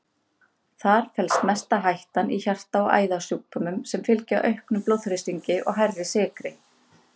Þar felst mesta hættan í hjarta- og æðasjúkdómum sem fylgja auknum blóðþrýstingi og hærri blóðsykri.